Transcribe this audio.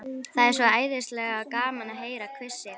Það er svo æðislega gaman að heyra hvissið.